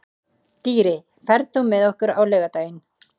Dýri, ferð þú með okkur á laugardaginn?